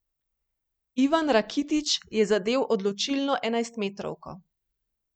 Ivan Rakitić je zadel odločilno enajstmetrovko.